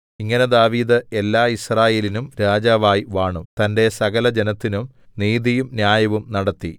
ഇങ്ങനെ ദാവീദ് എല്ലാ യിസ്രായേലിനും രാജാവായി വാണു തന്റെ സകലജനത്തിനും നീതിയും ന്യായവും നടത്തി